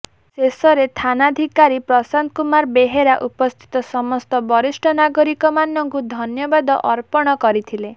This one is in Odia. ଶେଷରେ ଥାନାଧିକାରୀ ପ୍ରଶାନ୍ତ କୁମାର ବେହେରା ଉପସ୍ଥିତ ସମସ୍ତ ବରିଷ୍ଠ ନାଗରିକ ମାନଙ୍କୁ ଧନ୍ୟବାଦ ଅର୍ପଣ କରିଥିଲେ